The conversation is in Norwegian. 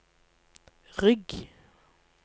rygg